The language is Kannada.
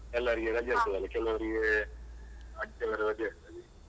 ಎಲ್ಲರಿಗೆ ರಜೆ ಇರ್ತದಲ್ಲ ಕೆಲವರಿಗೆ ಆದಿತ್ಯವಾರ ರಜೆ ಇರ್ತದೆ.